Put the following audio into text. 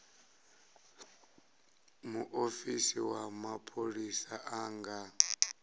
muofisi wa mapholisa a nga